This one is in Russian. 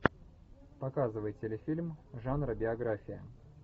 показывай телефильм жанра биография